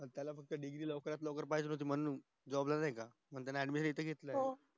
पण त्याला फक्त degree लवकरत लवकर पाहिजे होती म्हणून job ला नाय का त्यांनी addmision इथे घेतलेला